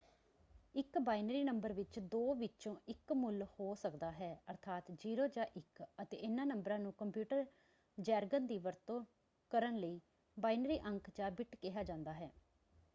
ਇੱਕ binary number ਵਿੱਚ ਦੋ ਵਿੱਚੋਂ ਇੱਕ ਮੁੱਲ ਹੋ ਸਕਦਾ ਹੈ ਅਰਥਾਤ 0 ਜਾਂ 1 ਅਤੇ ਇਹਨਾਂ ਨੰਬਰਾਂ ਨੂੰ ਕੰਪਿਊਟਰ ਜੈਰਗਨ ਦੀ ਵਰਤੋਂ ਕਰਨ ਲਈ ਬਾਈਨਰੀ ਅੰਕ - ਜਾਂ ਬਿੱਟ ਕਿਹਾ ਜਾਂਦਾ ਹੈ।